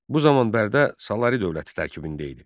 Bu zaman Bərdə Salari dövləti tərkibində idi.